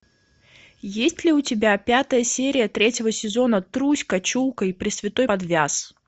есть ли у тебя пятая серия третьего сезона труська чулко и пресвятой подвяз